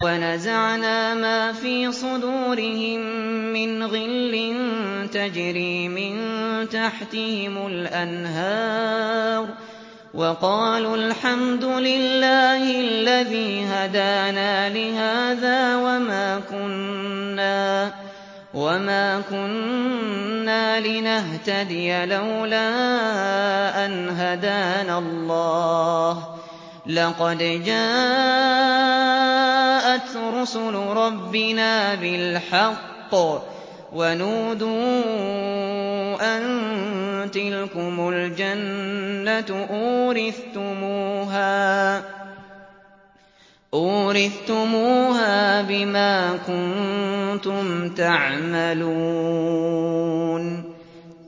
وَنَزَعْنَا مَا فِي صُدُورِهِم مِّنْ غِلٍّ تَجْرِي مِن تَحْتِهِمُ الْأَنْهَارُ ۖ وَقَالُوا الْحَمْدُ لِلَّهِ الَّذِي هَدَانَا لِهَٰذَا وَمَا كُنَّا لِنَهْتَدِيَ لَوْلَا أَنْ هَدَانَا اللَّهُ ۖ لَقَدْ جَاءَتْ رُسُلُ رَبِّنَا بِالْحَقِّ ۖ وَنُودُوا أَن تِلْكُمُ الْجَنَّةُ أُورِثْتُمُوهَا بِمَا كُنتُمْ تَعْمَلُونَ